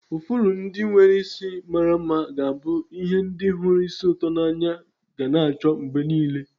Ifuru ndị nwere isi mara mma ga-abụ ie ndị hụrụ ísì ụtọ n'anya ga n'acho mgbe niile.